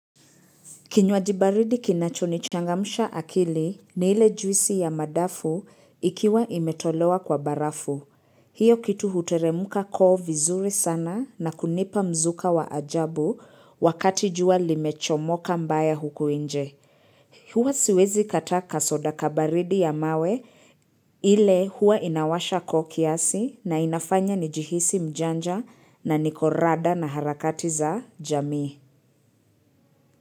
Kinywaji baridi kinachonichangamsha akili na ile juisi ya madafu ikiwa imetolewa kwa barafu. Hiyo kitu huteremka koo vizuri sana na kunipa mzuka wa ajabu wakati jua limechomoka mbaya huku nje. Huwa siwezi kataa kasoda kabaridi ya mawe ile huwa inawasha koo kiasi na inafanya nijihisi mjanja na nikorada na harakati za jami.